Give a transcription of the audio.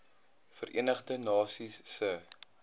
verenigde nasies se